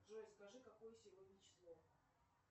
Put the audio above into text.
джой скажи какое сегодня число